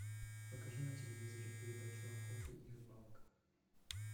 покажи на телевизоре передачу охота и рыбалка